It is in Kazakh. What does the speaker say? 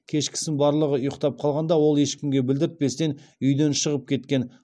кешкісін барлығы ұйықтап қалғанда ол ешкімге білдіртпестен үйден шығып кеткен